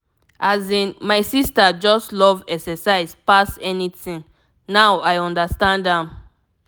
asin my sister just love exercise pass anything now i understand am.